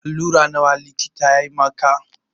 Alura nawa likitan ya maka?